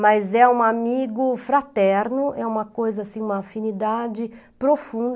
Mas é um amigo fraterno, é uma coisa assim, uma afinidade profunda.